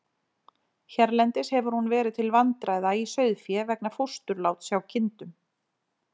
Hérlendis hefur hún verið til vandræða í sauðfé vegna fósturláts hjá kindum.